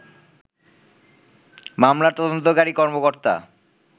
মামলার তদন্তকারী কর্মকর্তা